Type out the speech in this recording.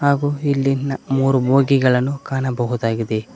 ಹಾಗು ಇಲ್ಲಿ ನಾ ಮೂರು ಬೋಗಿಗಳನ್ನು ಕಾಣಬಹುದಾಗಿದೆ.